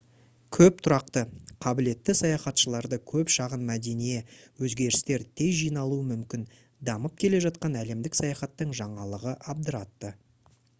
көп тұрақты қабілетті саяхатшыларды көп шағын мәдение өзгерістер тез жиналуы мүмкін дамып келе жатқан әлемдік саяхаттың жаңалығы абдыратты